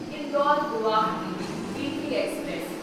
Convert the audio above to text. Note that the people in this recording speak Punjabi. Indore Guwahati weekly express